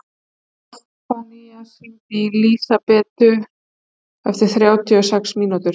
Soffanías, hringdu í Lísabetu eftir þrjátíu og sex mínútur.